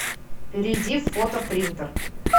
перейди в фотопринтер